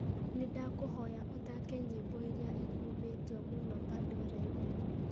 nĩ ndakũhoya ũthaake nyĩĩmbo iria ikumĩtio mũno pandora-inĩ